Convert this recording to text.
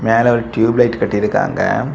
மேல ஒரு டியூப்லைட் கட்டிருக்காங்க.